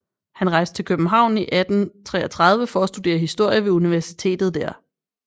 Han rejste til København i 1833 for at studere historie ved universitetet der